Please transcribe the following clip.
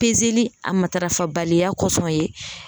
a matarafa baliya kɔsɔn ye.